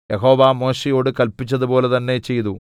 യഹോവ മോശെയോട് കല്പിച്ചതുപോലെ തന്നെ ചെയ്തു